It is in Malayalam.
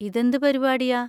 ഇതെന്ത് പരിപാടിയാ?